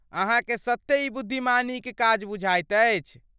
अहाँके सत्ते ई बुद्धिमानीक काज बुझाइत अछि?